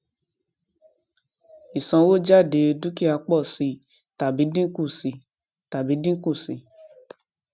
ìsanwójádé dúkìá pò sí i tàbí dínkù sí tàbí dínkù sí i